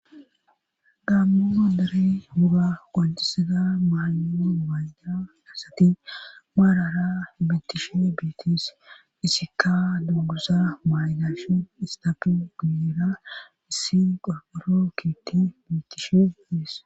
Gammo dere muga gonjisida maayo mayda as ati maarara ibitishi biitis isika duguza maaydash istabi guira issi googoro kiiti biitish biis.